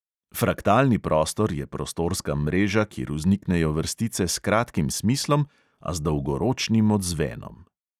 Fraktalni prostor je prostorska mreža, kjer vzniknejo vrstice s kratkim smislom, a z dolgoročnim odzvenom.